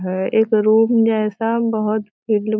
है। एक रूम जैसा बहुत फील्ड --